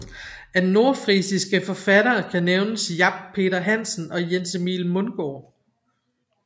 Af nordfrisiske forfattere kan nævnes Jap Peter Hansen og Jens Emil Mungard